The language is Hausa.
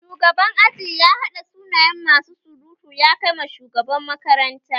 Shugaban aji ya hada sunayen masu surutu ya Kai ma shugaban makaranta